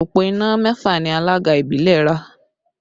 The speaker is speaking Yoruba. Òpó iná mẹ́fà ni alága ìbílẹ̀ ra